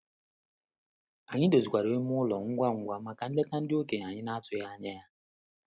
Anyị dozikwaru ime ụlọ ngwa ngwa maka nleta ndị okenye anyị na-atụghị anya ya.